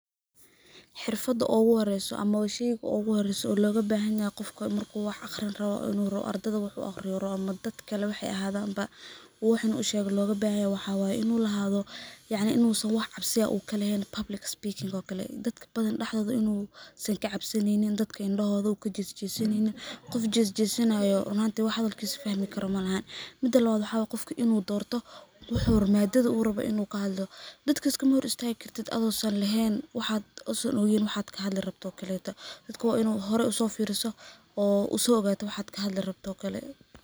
Xirfada uguhoreso ama ba sheyga uguhoreyso oo logabahanyahay qofka marku wax aqrin rawo inu ardada wax u aqriyo rawo ama dad kale wax ay ahadan ba wax inu ushego logabahanyahay waxa way inu lahadho yacni in u san wax cabsi ah kalehen public speaking oo kale, dadka bathan daxdotha in uu san kacabsaneynin, dadka indahoda uu kajesjesneynin, qof jesjesanayo run ahanti wax hadalkis fahmi karo malahan, Mida lawad waxaa way qofka in uu dorto madadha uu rawo in uu kahadlo, dadka iskama hor istagi kartid ado san ogen waxaa kahadli rabto oo kaleta, dadka wa in uu hore usofiriso oo uso ogato waxaad kahadli rabto oo kale.